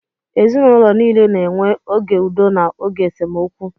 Ezinụlọ niile na-enwe oge udo na oge esemokwu